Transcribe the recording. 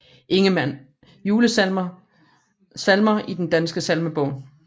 Ingemann Julesalmer Salmer i Den Danske Salmebog